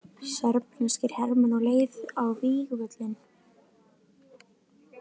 Serbneskir hermenn á leið á vígvöllinn.